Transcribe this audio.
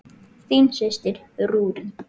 Þín systir, Rúrí.